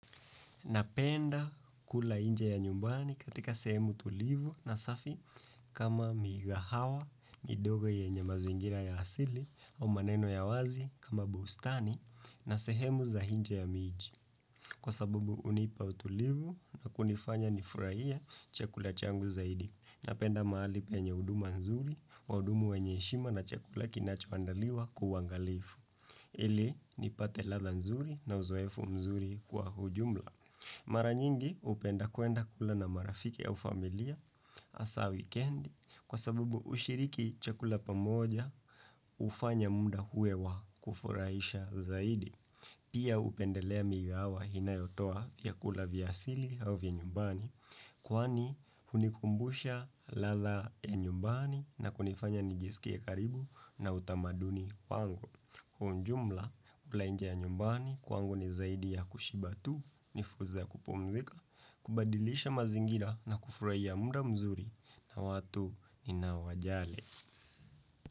Napenda kula nje ya nyumbani katika sehemu tulivu na safi kama mikahawa, midogo yenye mazingira ya asili au maneno ya wazi kama bustani na sehemu za nje ya miji. Kwa sabubu hunipa utulivu na kunifanya nifurahie chekula changu zaidi. Napenda mahali penye huduma nzuri wahudumu wenye heshima na chekula kinacho andaliwa kwa uangalifu. Ili nipate ladha nzuri na uzoefu mzuri kwa ujumla. Mara nyingi hupenda kuenda kula na marafiki au familia hasa wikendi kwa sabubu ushiriki chakula pamoja hufanya muda uwe wa kufurahisha zaidi. Pia upendelea mikahawa inayotoa vyakula vya asili au vya nyumbani Kwani hunikumbusha ladha ya nyumbani na kunifanya nijisikie karibu na utamaduni wangu Kwa ujumla kula inje ya nyumbani kwangu ni zaidi ya kushiba tu nifursa ya kupumzika kubadilisha mazingira na kufurahia muda mzuri na watu ninao wajali.